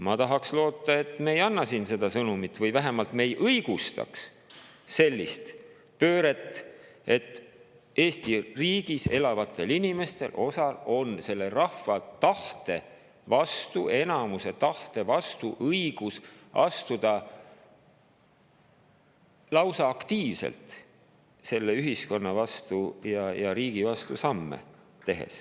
Ma tahaks loota, et me ei anna siin seda sõnumit või vähemalt me ei õigusta sellist pööret, et osal Eesti riigis elavatel inimestel on õigus astuda selle rahva tahte vastu, enamuse tahte vastu, lausa aktiivselt selle ühiskonna ja riigi vastu samme teha.